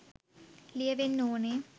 ලියවෙන්න ඕනෙ